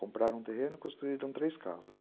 Compraram o terreno e construíram três casas.